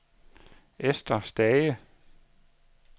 Ester Stage